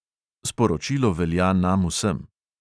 Sporočilo velja nam vsem.